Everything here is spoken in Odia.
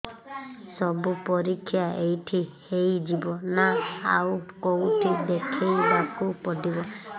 ସବୁ ପରୀକ୍ଷା ଏଇଠି ହେଇଯିବ ନା ଆଉ କଉଠି ଦେଖେଇ ବାକୁ ପଡ଼ିବ